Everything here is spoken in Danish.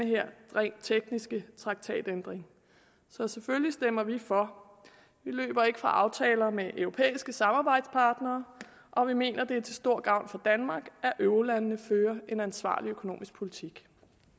her rent tekniske traktatændringer så selvfølgelig stemmer vi for vi løber ikke fra aftaler med europæiske samarbejdspartnere og vi mener det er til stor gavn for danmark at eurolandene fører en ansvarlig økonomisk politik